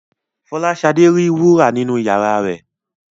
Fọláṣadé ri wúrà nínu iyàrá rẹ.